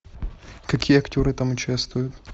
какие актеры там участвуют